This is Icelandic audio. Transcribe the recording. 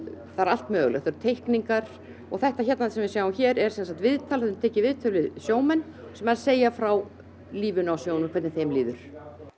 það er allt mögulegt það eru teikningar og þetta hérna sem við sjáum hér er sem sagt viðtal tekin viðtöl við sjómenn sem segja frá lífinu á sjónum hvernig þeim líður